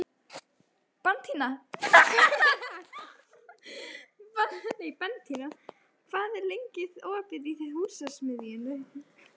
Bentína, hvað er lengi opið í Húsasmiðjunni?